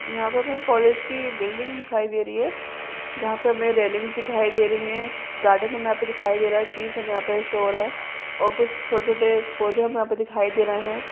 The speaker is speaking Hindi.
यहाँं पे हमें कोलेज की बिल्डिंग दिखाई दे रही हैं जहां पे हमे रेलिंग्स दिखाई दे रही हैं गार्डन हमें यहाँं पे दिखाई दे रहा हैं ट्रीज हमें यहाँं पे शो हो रहे हैं और कुछ छोटे-छोटे पौधे हमें यहाँं पे दिखाई दे रहा हैं।